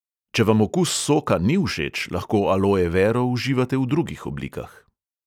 Če vam okus soka ni všeč, lahko aloe vero uživate v drugih oblikah.